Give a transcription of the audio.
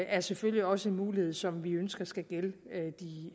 er selvfølgelig også en mulighed som vi ønsker skal gælde de